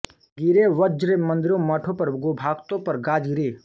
गिरे वज्र मंदिरों मठों पर गोभाक्तो पर गाज गिरी